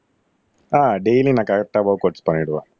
ஆஹ் daily நான் கரெக்ட்டா workouts பண்ணிடுவேன்